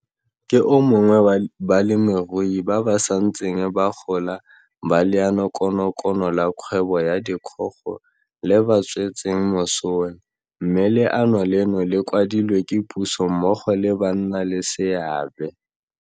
Ke o mongwe wa balemirui ba ba santseng ba gola ba Leanokonokono la Kgwebo ya Dikgogo le ba tswetseng mosola, mme le ano leno le kwadilwe ke puso mmogo le bannaleseabe.